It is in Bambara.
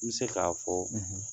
N bɛ se k'a fɔ